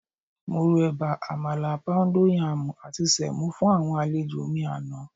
Mo ro ẹ̀bà, àmàlà, póúndó yaàmù àti sẹ̀mó fún àwọn àlejò mi àná.